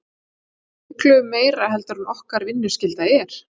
Miklu meira heldur en okkar vinnuskylda er?